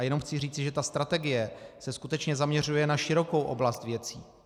A jenom chci říci, že ta strategie se skutečně zaměřuje na širokou oblast věcí.